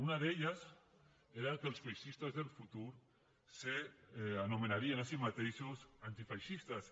una d’elles era que els feixistes del futur s’anomenarien a si mateixos antifeixistes